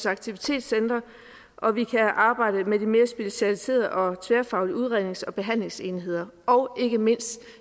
aktivitetscentre og vi kan arbejde med de mere specialiserede og tværfaglige udrednings og behandlingsmuligheder og ikke mindst